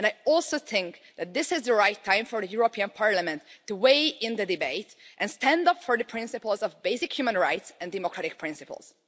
I also think that this is the right time for the European Parliament to weigh in in the debate and stand up for the principles of basic human rights and democratic principles.